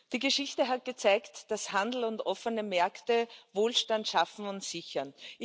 Die Geschichte hat gezeigt, dass Handel und offene Märkte Wohlstand schaffen und sichern.